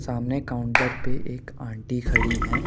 सामने काउंटर पर एक आंटी खड़ी है।